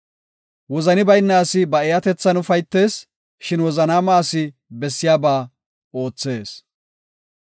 Wozani bayna asi ba eeyatethan ufaytees; shin wozanaama asi bessiya ba oothees.